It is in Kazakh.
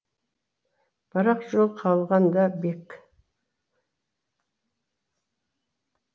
бір ақ жол қалған да бек